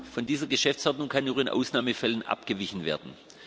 Von dieser Geschäftsordnung kann nur in Ausnahmefällen abgewichen werden.